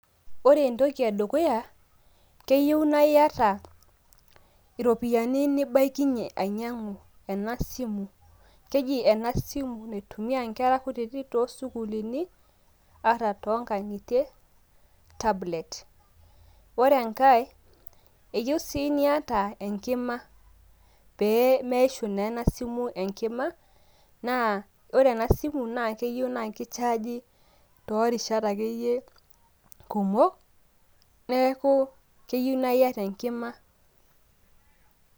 Ore entoki edukuya, keyieu na iyata iropiyiani nibaikinye ainyang'u ena simu. Keji ena simu naitumia nkera kutitik tosukuulini, ata tonkang'itie, tablet. Ore enkae, eyieu si niata enkima. Pee meishu na ena simu enkima, na ore ena simu na keyieu na kichaaji torishat akeyie kumok. Neeku keyieu naiyata enkima.